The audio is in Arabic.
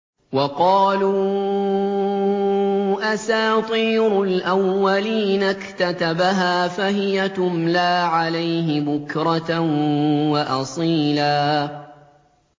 وَقَالُوا أَسَاطِيرُ الْأَوَّلِينَ اكْتَتَبَهَا فَهِيَ تُمْلَىٰ عَلَيْهِ بُكْرَةً وَأَصِيلًا